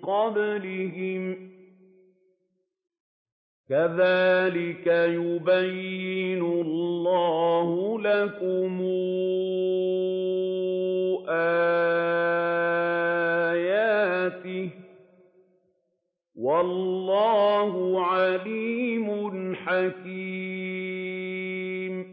قَبْلِهِمْ ۚ كَذَٰلِكَ يُبَيِّنُ اللَّهُ لَكُمْ آيَاتِهِ ۗ وَاللَّهُ عَلِيمٌ حَكِيمٌ